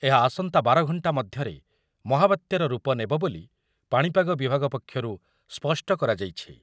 ଏହା ଆସନ୍ତା ବାର ଘଣ୍ଟା ମଧ୍ୟରେ ମହାବାତ୍ୟାର ରୂପ ନେବ ବୋଲି ପାଣିପାଗ ବିଭାଗ ପକ୍ଷରୁ ସ୍ପଷ୍ଟ କରାଯାଇଛି ।